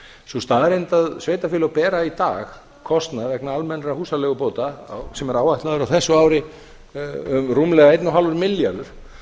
sú staðreynd að sveitarfélög bera í dag kostnað vegna almennra húsaleigubóta sem er áætlaður á þessu ári rúmlega fimmtán milljarðar